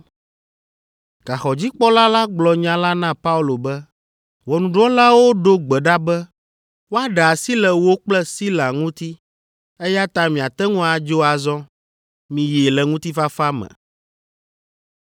Gaxɔdzikpɔla la gblɔ nya la na Paulo be, “Ʋɔnudrɔ̃lawo ɖo gbe ɖa be woaɖe asi le wò kple Sila ŋuti, eya ta miate ŋu adzo azɔ. Miyi le ŋutifafa me.”